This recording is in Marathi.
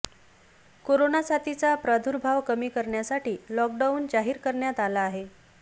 कोरोना साथीचा प्रादुर्भाव कमी करण्यासाठी लॉकडाऊन जाहीर करण्यात आला आहे